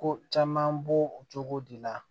Ko caman b'o cogo de la